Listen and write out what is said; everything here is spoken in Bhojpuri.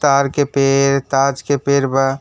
तार के पेड़ ताज के पेर बा।